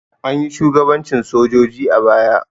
Anyi shugabancin sojoji a baya.